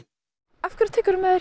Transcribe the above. af hverju tekurðu með